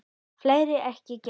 Fleiri ekki gert.